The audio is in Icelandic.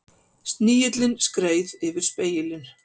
Snigillinn skreið yfir spegilinn.